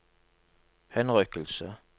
henrykkelse